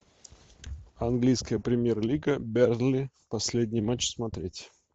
английская премьер лига бернли последний матч смотреть